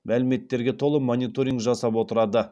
мәліметтерге мониторинг жасап отырады